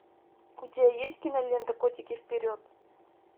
у тебя есть кинолента котики вперед